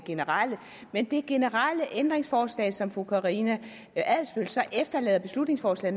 generelt men det generelle ændringsforslag som fru karina adsbøl så efterlader et beslutningsforslag